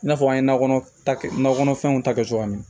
I n'a fɔ an ye nakɔ ta kɛ nakɔ kɔnɔfɛnw ta kɛ cogoya min